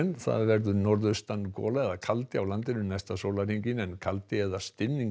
það verður norðaustan gola eða kaldi á landinu næsta sólarhringinn en kaldi eða